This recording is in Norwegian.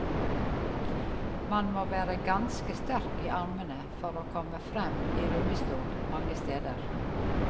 Man må være ganske sterk i armene for å komme frem i rullestol mange steder.